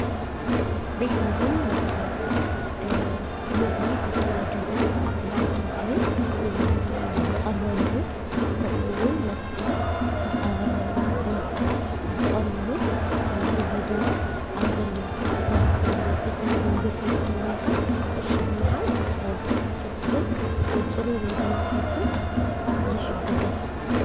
ቤት ምግቢን መስተን ምግቢ ተሰናዲኡ ናብ ህዝቢ ዝቐርበሉ ከምኡ እዉን መስታት ዝቐርብሉ ህዝቢ ድማ አብ ዘድልዮ ስዓት ናብዚ ቤት ምግቢን ቤት መስተን ብምካድ ቅርሹ ብምሃብ ብቅልጡፍ ፅፉፉን ፅሩይን ምግቢ ንክረክብ ይሕግዞ።